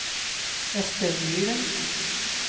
Ester Myren